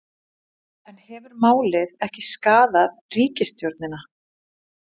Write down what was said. En hefur málið ekki skaðað ríkisstjórnina?